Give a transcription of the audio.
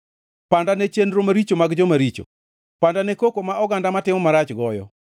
Panda ne chenro maricho mag joma richo, panda ne koko ma oganda matimo marach goyo.